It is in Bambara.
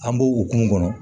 An b'o o kumu kɔnɔ